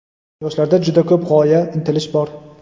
Yoshlarda juda ko‘p g‘oya, intilish bor.